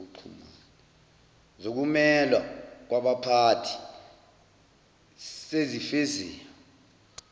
zokumelwa kwabaphathi sezifeziwe